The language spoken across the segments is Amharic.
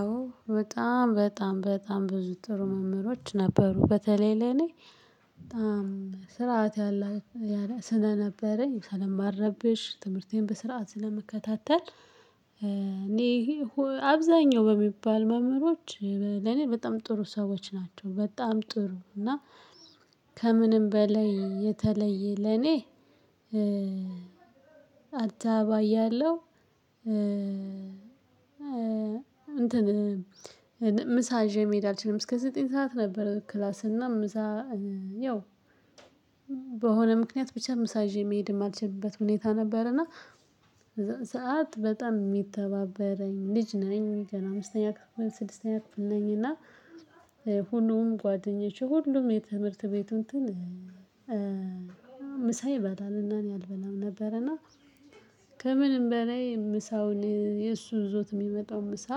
አዎ በጣም በጣም በጣም ብዙ ጥሩ መምህሮች ነበሩ። በተለይ ለእኔ በጣም ስርዓት ስለነበረኝ ስለማረብሽ ትምህርቴን በስርዓት ስለምከታተል እኔ አብዛኛው በሚባል መምህሮች ለኔ በጣም ጥሩ ሰዎች ናቸው በጣም ጥሩ እና ከምንም በላይ የተለየ ለኔ አዲስ አበባ እያለሁ እንትን ምሳ ይዥ መሄድ አልችልም እስከ ዘጠኝ ሰዓት ነበር ክላስ እና ምሳ ያው በሆነ ምክንያት ብቻ ምሳ ይዤ መሄድ የማልችልበት ሁኔታ ነበረና ሰዓት በጣም የሚተባበረኝ ልጅ ነኝ ገና አምስተኛ ክፍል፣ ስድስተኛ ክፍል ነኝ እና ሁሉም ጓደኞቼ ሁሉም የትምህርት ቤቱ እንትን ምሳ ይበላል እና እኔ አልበላም ነበረና ከምንም በላይ ምሳውን የእሱ ይዞት የሚመጣውን ምሳ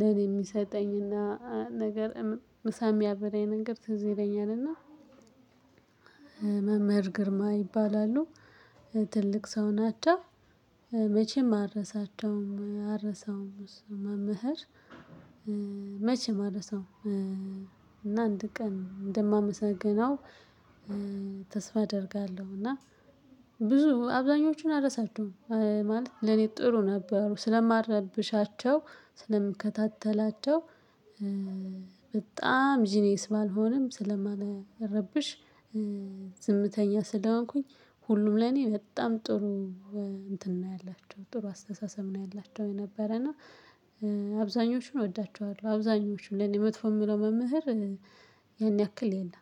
ለኔ የሚሰጠኝና ነገር ምሳ የሚያበላኝ ነገር ትዝ ይለኛል እና መምህር ግርማ ይባላሉ። ትልቅ ሰው ናቸው መቼም አልረሳቸውም አልረሳውም እሱን መምህር መቼም አልረሳውም እና አንድ ቀን እንደማመሰግነው ተስፋ አደርጋለሁ እና ብዙ አብዛኞቹን አልረሳቸዉም ማለት ለኔ ጥሩ ነበሩ ስለማልረብሻቸው ስለምከታተላቸው በጣም ጂኒየስ ባልሆንም ስለማልረብሽ ዝምተኛ ስለሆንኩኝ ሁሉም ለኔ በጣም ጥሩ እንትን ነው ያላቸው ጥሩ አስተሳሰብ ነው ያላቸው የነበረ እና አብዛኞቹን እወዳቸዋለሁ አብዛኛዎቹን ለኔ መጥፎ የምለው መምህር ያን ያክል የለም